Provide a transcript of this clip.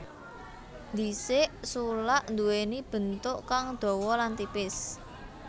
Dhisik sulak nduwéni bentuk kang dawa lan tipis